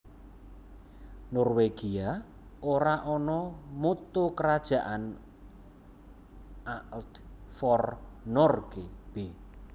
Norwegia ora ana Motto kerajaan Alt for Norge b